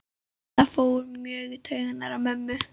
Það fór mjög í taugarnar á mömmu.